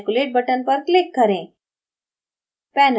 calculate button पर click करें